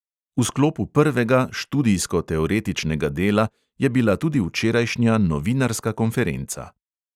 V sklopu prvega, študijsko-teoretičnega dela, je bila tudi včerajšnja novinarska konferenca.